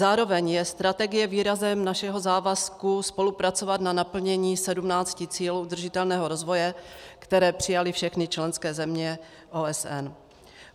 Zároveň je strategie výrazem našeho závazku spolupracovat na naplnění 17 cílů udržitelného rozvoje, které přijaly všechny členské země OSN.